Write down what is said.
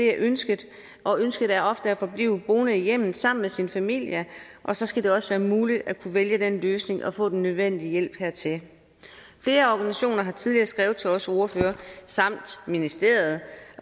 er ønsket og ønsket er ofte at blive boende i hjemmet sammen med sin familie og så skal det også være muligt at kunne vælge den løsning og få den nødvendige hjælp hertil flere organisationer har tidligere skrevet til os ordførere samt ministeriet